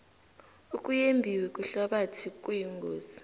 ukuyembiwe kwehlabathi kuyingozi